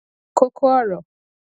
kókó ọrọ